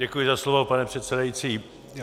Děkuji za slovo, pane předsedající.